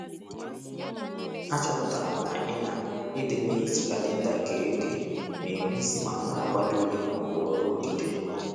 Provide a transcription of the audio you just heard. Achọpụtara m na i na i di n'eji kalenda kee oge n'ènwe isị ma m n'akwado ule ma ọ bụ ọrụ odide.